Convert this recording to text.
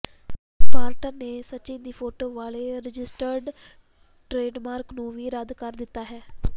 Spartan ਨੇ ਸਚਿਨ ਦੀ photo ਵਾਲੇ ਰਜਿਸਟਰਡ ਟ੍ਰੇਡਮਾਰਕ ਨੂੰ ਵੀ ਰੱਦ ਕਰ ਦਿੱਤਾ ਹੈ